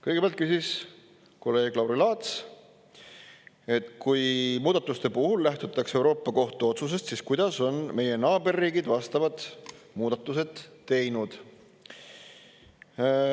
Kõigepealt küsis kolleeg Lauri Laats, et kui muudatuste puhul lähtutakse Euroopa Kohtu otsusest, siis kuidas on meie naaberriigid vastavad muudatused teinud.